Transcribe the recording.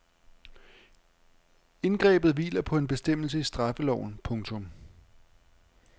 Indgrebet hviler på en bestemmelse i straffeloven. punktum